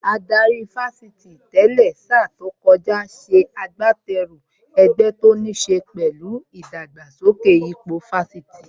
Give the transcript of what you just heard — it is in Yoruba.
Adarí Fásitì tẹ́lẹ̀ sa tó kọjá ṣe agbateru ẹgbẹ́ tó níṣe pẹ̀lú ìdàgbàsókè ipò Fásitì